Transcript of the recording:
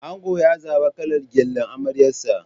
Ango ya zaɓa kalar gyallen amaryarsa.